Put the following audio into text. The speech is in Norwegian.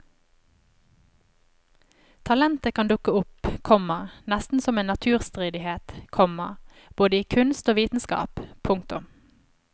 Talentet kan dukke opp, komma nesten som en naturstridighet, komma både i kunst og vitenskap. punktum